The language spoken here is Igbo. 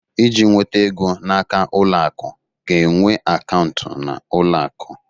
Iji nweta ego n'aka ụlọ akụ ga-enwe akaụntụ na ụlọ akụ